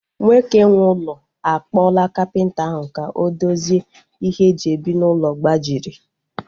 Nwoke nwe ụlọ a kpọla kapịnta ahu ka o dozie ihe e ji ebi n'ụlọ gbajiri